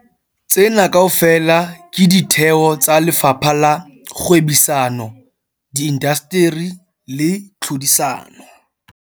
Tsena kaofela ke ditheo tsa Lefapha la Kgwebisano, Di indasteri le Tlhodisano.